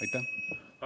Aitäh!